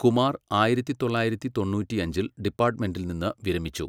കുമാർ ആയിരത്തി തൊള്ളായിരത്തി തൊണ്ണൂറ്റിയഞ്ചിൽ ഡിപ്പാട്ട്മെന്റിൽ നിന്ന് വിരമിച്ചു.